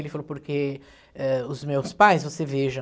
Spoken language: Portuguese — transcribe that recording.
Ele falou, porque eh, os meus pais, você veja...